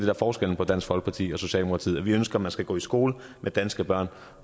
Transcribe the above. er forskellen på dansk folkeparti og socialdemokratiet nemlig at vi ønsker man skal gå i skole med danske børn